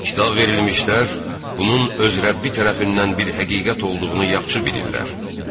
Kitab verilmişlər bunun öz Rəbbi tərəfindən bir həqiqət olduğunu yaxşı bilirlər.